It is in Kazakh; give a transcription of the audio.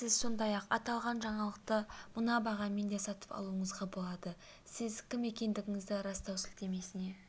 сіз сондай-ақ аталған жаңалықты мына бағамен де сатып алуыңызға болады сіз кім екендігіңізді растау сілтемесіне